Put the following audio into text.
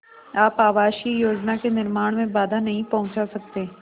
आप आवासीय योजना के निर्माण में बाधा नहीं पहुँचा सकते